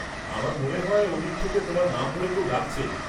আমার মনে হয় ওদিক থেকে তোমার নাম ধরে কেউ ডাকছে।